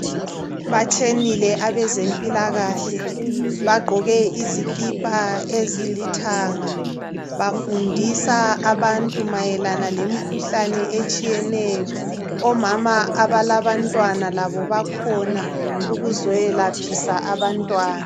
Batshenile abezempilakahle. Bagqoke izikipa ezilithanga. Bafundisa abantu mayelana, lemkhuhlane etshiyeneyo. Omama abalabantwana labo bakhona. Ukuzeyelaphisa abantwana.